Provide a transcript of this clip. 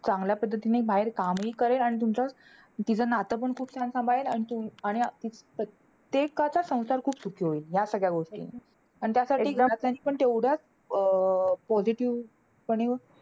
चांगल्या पद्धतीने बाहेर काम हि करेल. आणि तुमचं तिचं नातं हि खूप छान सांभाळेल. आणि तुम आणि ते ते अं त्यांचा संसार खूप सुखी होईल. ह्या सगळ्या गोष्टीमुळे आणि त्यासाठी घरच्यांनी पण तेवढ्याच अं positive पणे,